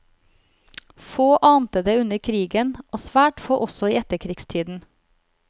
Få ante det under krigen, og svært få også i etterkrigstiden.